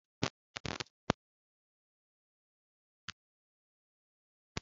Gwa nne gị ka o weta otu mkpò spugeetí echi